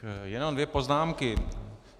Jenom dvě poznámky.